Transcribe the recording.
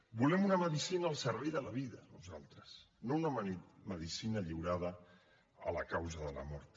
volem una medicina al servei de la vida nosaltres no una medicina lliurada a la causa de la mort